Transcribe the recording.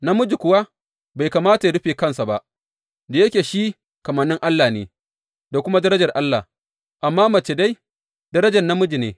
Namiji kuwa bai kamata ya rufe kansa ba, da yake shi kamannin Allah ne, da kuma darajar Allah, amma mace dai, darajar namiji ne.